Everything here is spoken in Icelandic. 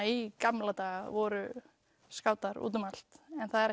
í gamla daga voru skátar út um allt